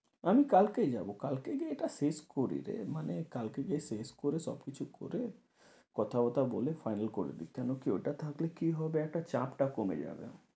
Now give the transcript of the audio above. আমি কালকেই যাবো। কালকে গিয়ে এটা শেষ করি রে মানে কালকে যেয়ে শেষ করে সবকিছু করে, কথা বথা বলে final করে দেই কেন কি ওটা থাকলে কি হবে একটা চাপটা কমে যাবে।